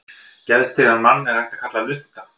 Geðstirðan mann er líka hægt að kalla lunta.